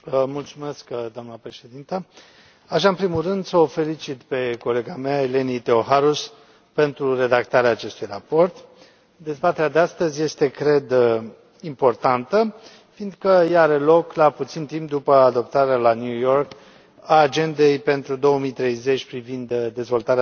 Doamnă președintă, aș vrea în primul rând să o felicit pe colega mea, Eleni Theocharous, pentru redactarea acestui raport. Dezbaterea de astăzi este, cred, importantă, fiindcă ea are loc la puțin timp după adoptarea la New York a Agendei pentru 2030 privind dezvoltarea durabilă.